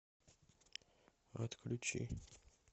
отключи